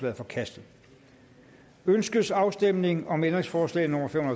er forkastet ønskes afstemning om ændringsforslag nummer fem